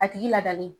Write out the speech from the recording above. A tigi ladalen